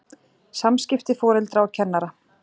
SAMSKIPTI FORELDRA OG KENNARA